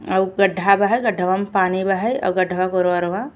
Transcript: और गड्ढा बहै और गड्ढावा में पानी बहै और गड्ढावा के ओरवा-ओरवा --